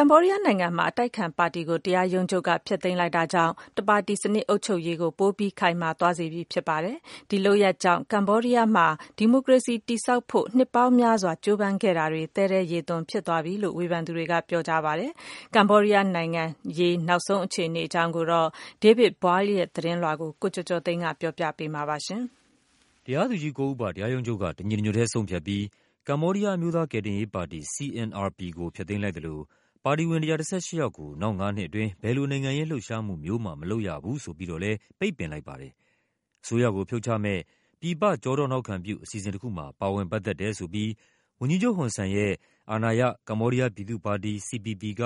ကမ္ဘောဒီးယားနိုင်ငံမှာ အတိုက်အခံပါတီကို တရားရုံးချုပ်က ဖျက်သိမ်းလိုက်တာကြောင့် တပါတီစနစ်အုပ်ချုပ်ရေး ကို ပိုပြီး ခိုင်မာသွားစေပြီဖြစ်ပါတယ်။ ဒီလုပ်ရပ်ကြောင့် ကမ္ဘောဒီးယားမှာ ဒီမိုကရေစီကိုတည်ဆောက်ဖို့ နှစ်ပေါင်းများစွာ ကြိုးပမ်း ခဲ့တာတွေ သဲထဲရေသွန်ဖြစ်သွားပြီလို့ ဝေဖန်သူတွေကပြောပါတယ်။ ကမ္ဘောဒီးယားနိုင်ငံရေး နောက်ဆုံးအခြေအနေအကြောင်း David Boyle ရဲ့သတင်းလွှာကို ကိုကျော်ကျော်သိန်းက ပြောပြပါမယ်။ တရားသူကြီး ကိုးဦးပါ တရားရုံးချုပ်က တညီတညွတ်ထဲဆုံးဖြတ်ပြီး ကမ္ဘောဒီးယား အမျိုးသားကယ်တင်ရေးပါတီ CNRP ကို ဖျက်သိမ်းလိုက်သလို ပါတီဝင် ၁၁၈ ယောက်ကို နောက်ငါးနှစ်အတွင်း ဘယ်လိုနိုင်ငံရေးလှုပ်ရှားမှုမျိုးမှ မလုပ်ရဘူးဆိုပြီးတော့လဲ ပိတ်ပင်လိုက်ပါတယ်။ အစိုးရကိုဖြုတ်ချမယ့် ပြည်ပကျောထောက်နောက်ခံပြု အစီအစဉ်တခုမှာ ပါဝင်ပတ်သက်တယ်ဆိုပြီး ဝန်ကြီးချုပ် ဟွန်ဆန်ရဲ့ အာဏာရ ကမ္ဘောဒီးယားပြည်သူ့ပါတီ CPP က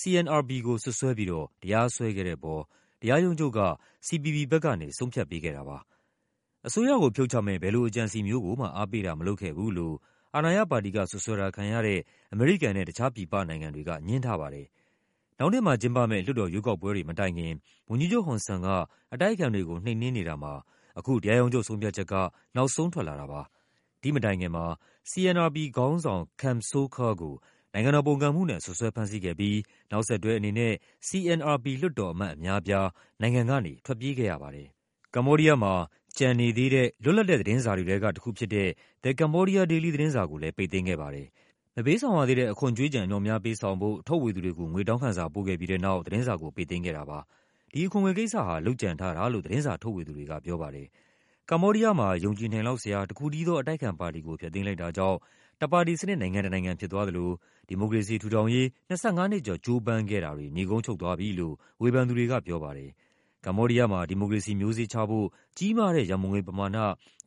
CNRP ကို စွပ်စွဲပြီးတော့ တရားစွဲခဲ့တဲ့အပေါ် တရားရုံးချုပ် က CPP ဘက်ကနေ ဆုံးဖြတ်ပေးခဲ့တာပါ။ အစိုးရကိုဖြုတ်ချမယ့် ဘယ်လိုအကြံအစည်မျိုးကိုမှ အားပေးတာမလုပ်ခဲ့ဘူးလို့ အာဏာရပါတီက စွပ်စွဲတာခံရတဲ့ အမေရိကန်နဲ့ တခြား ပြည်ပနိုင်ငံတွေက ငြင်းထားပါတယ်။ နောက်နှစ်မှာကျင်းပမယ့် လွှတ်တော်ရွေးကောက်ပွဲတွေမတိုင်ခင် ဝန်ကြီးချုပ်ဟွန်ဆန်က အတိုက်အခံတွေကို နှိမ်နင်းနေတာမှာ အခု တရားရုံးချုပ်ဆုံးဖြတ်ချက်က နောက်ဆုံးထွက်လာတာပါ။ ဒီ့မတိုင်ခင်မှာ CNRP ခေါင်းဆောင် Kem Sokha ကို နို်င်ငံတော် ပုန်ကန်မှုနဲ့ စွပ်စွဲဖမ်းဆီးခဲ့ပြီး နောက်ဆက်တွဲအနေနဲ့ CNRP လွှတ်တော်အမတ် အများအပြား နိုင်ငံကနေ ထွက်ပြေးခဲ့ရပါတယ်။ ကမ္ဘောဒီးယားမှာ ကျန်နေသေးတဲ့ လွတ်လပ်တဲ့သတင်းစာတွေထဲက တခုဖြစ်တဲ့ The Cambodia Daily သတင်းစာကိုလဲ ပိတ်သိမ်းခဲ့ပါတယ်။ မပေးဆောင်ရသေးတဲ့ အခွန်ကြွေးကျန် အမြောက်အများပေးဆောင်ဖို့ ထုတ်ဝေသူတွေကို ငွေတောင်းခံစာ ပို့ခဲ့ပြီးတဲ့နောက် သတင်းစာကို ပိတ်သိမ်းခဲ့တာပါ။ ဒီအခွန်ငွေကိစ္စဟာ လုပ်ကြံထားတာလို့ သတင်းစာ ထုတ်ဝေသူတွေကပြောပါ တယ်။ ကမ္ဘောဒီးယားမှာ ယုံကြည်နိုင်လောက်စရာ တခုတည်းသော အတိုက်အခံပါတီကို ဖျက်သိမ်းလိုက်တာကြောင့် တပါတီစနစ်နိုင်ငံ တနိုင်ငံဖြစ်သွားသလို ဒီမိုကရေစီထူထောင်ရေး ၂၅ နှစ်ကျော် ကြိုးပမ်းခဲ့တာတွေ နိဂုံးချုပ်သွားပြီလို့ ဝေဖန်သူတွေကပြောပါတယ်။ ကမ္ဘောဒီးယားမှာ ဒီမိုကရေစီမျိုးစေ့ချဖို့ ကြီးမားတဲ့ရန်ပုံငွေပမာဏ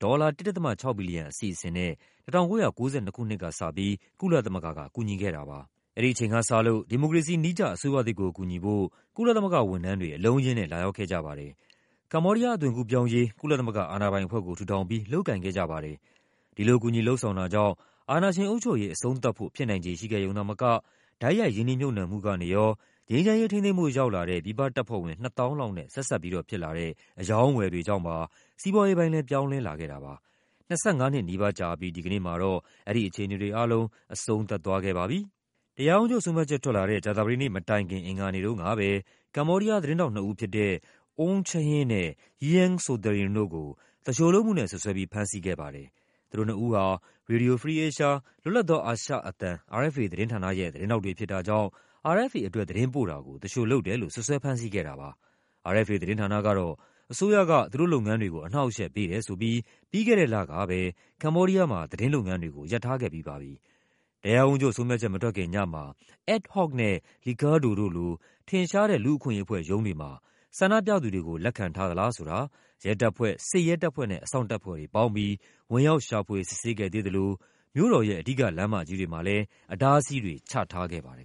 ဒေါ်လာ ၁.၆ ဘီလီယံ အစီအစဉ်နဲ့ ၁၉၉၂ ခုနှစ်ကပြီး ကုလ သမဂ္ဂက ကူညီခဲ့တာပါ။ အဲဒီအချိန်ကစလို့ ဒီမိုကရေစီနည်းကျ အစိုးရသစ်ကိုကူညီဖို့ ကုလသမဂ္ဂဝန်ထမ်းတွေ အလုံးအရင်းနဲ့ လာရောက်ခဲ့ကြပါတယ်။ ကမ္ဘောဒီးယား အသွင်ကူးပြောင်းရေး ကုလသမဂ္ဂ အာဏာပိုင်အဖွဲ့ကို ထူထောင်ပြီး လုပ်ကိုင်ခဲ့ကြပါ တယ်။ ဒီလို ကူညီလုပ်ဆောင်တာကြောင့် အာဏာရှင်အုပ်ချုပ်ရေး အဆုံးသတ်ဖို့ ဖြစ်နိုင်ခြေရှိခဲ့ရုံသာမက တိုက်ရိုက်ရင်းနှီးမြှုပ်နှံမှု ကနေရော၊ ငြိမ်းချမ်းရေးထိန်းသိမ်းဖို့ ရောက်လာတဲ့ ပြည်ပတပ်ဖွဲ့ဝင် ၂၀,၀၀၀ လောက်နဲ့ ဆက်စပ်ဖြစ်လာတဲ့ အရောင်းအဝယ် တွေကြောင့်ပါ စီးပွားရေးပိုင်းလဲ ပြောင်းလဲလာခဲ့တာပါ။ ၂၅ နှစ်နီးပါးကြာအပြီး ဒီကနေ့မှာတော့ အဲဒီအခြေအနေတွေအားလုံး အဆုံးသတ်သွားခဲ့ပါပြီ။ တရားရုံးချုပ်ဆုံးဖြတ်ချက်ထွက်လာတဲ့ ကြာသပတေးနေ့မတိုင်ခင် အင်္ဂါနေ့တုန်းကပဲ ကမ္ဘောဒီးယား သတင်းထောက်နှစ်ဦးဖြစ်တဲ့ Oun Chhin နဲ့ Yeang Sothearin တို့ကို သူလျှိုလုပ်မှုနဲ့စွပ်စွဲပြီး ဖမ်းဆီးခဲ့ပါတယ်။ သူတို့နှစ်ဦးဟာ Radio Free Asia လွတ်လပ် သောအာရှအသံ RFA သတင်းဌာနရဲ့ သတင်းထောက်တွေဖြစ်တာကြောင့် RFA အတွက် သတင်းပို့တာကို သူလျှိုလုပ်တယ်လို့ စွပ်စွဲဖမ်းဆီးခဲ့တာပါ။ RFA သတင်းဌာနကတော့ အစိုးရက သူတို့လုပ်ငန်းတွေကို အနှောင့်အယှက်ပေးတယ်ဆိုပြီး ပြီးခဲ့တဲ့လကပဲ ကမ္ဘောဒီးယားမှာ သတင်းလုပ်ငန်းတွေကို ရပ်ထားခဲ့ပြီးပါပြီ။ တရားရုံးချုပ်ဆုံးဖြတ်ချက်မထွက်ခင်ညမှာ Adhoc နဲ့ Licadho တို့လို ထင်ရှားတဲ့ လူ့အခွင့်အရေးအဖွဲ့ရုံးတွေမှာ ဆန္ဒပြသူတွေကို လက်ခံထားသလားဆိုတာ ရဲတပ်ဖွဲ့၊ စစ်ရဲတပ်ဖွဲ့နဲ့ အစောင့်တပ်ဖွဲ့တွေပေါင်းပြီး ဝင်ရောက် ရှာဖွေ စစ်ဆေးခဲ့သေးသလို မြို့တော်ရဲ့ အဓိကလမ်းမကြီးတွေမှာလည်း အတားအဆီးတွေ ချထားခဲ့ပါတယ်